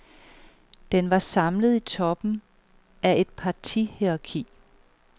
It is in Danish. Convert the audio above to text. Den var samlet i toppen af et partihierarki.